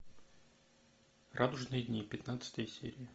радужные дни пятнадцатая серия